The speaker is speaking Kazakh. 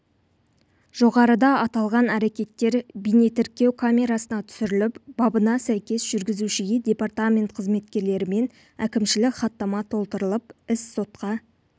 жоғарыда аталған әрекеттер бейнетіркеу камерасына түсіріліп бабына сәйкес жүргізушіге департамент қызметкерлерімен әкімшілік хаттама толтырылып іс сотқа